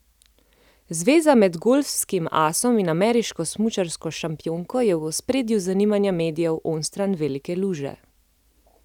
Zveza med golfskim asom in ameriško smučarsko šampionko je v ospredju zanimanja medijev onstran velike luže.